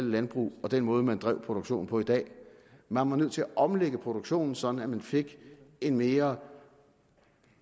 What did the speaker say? landbrug og den måde man drev produktionen på i dag man var nødt til at omlægge produktionen sådan at man fik en mere